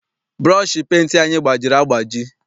Bụrọshị penti anyị gbajiri agbaji.